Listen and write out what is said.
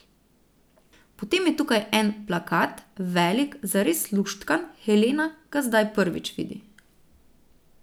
Potem je tukaj en plakat, velik, zares luštkan, Helena ga zdaj prvič vidi.